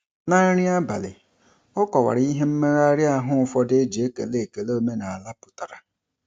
Na nri abalị, ọ kọwara ihe mmegharị ahụ ụfọdụ e ji ekele ekele omenala pụtara.